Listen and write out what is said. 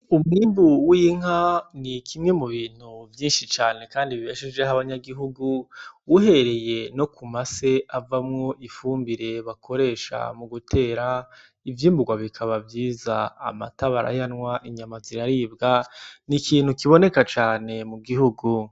Umwimbu w'inka nikimwe mubintu vyinshi cane kandi bibeshejeho abanyagihugu uhereye nokumase avamwo ifumbire bakoresha mugutera ivyimbugwa bikaba vyiza; amata barayanwa inyama ziraribwa ,n'ikintu kiboneka cane mugihugu.